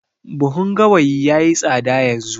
Buhun gawayi yayi tsada yanzu